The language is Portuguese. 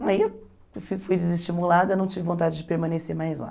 Aí eu fui desestimulada, não tive vontade de permanecer mais lá.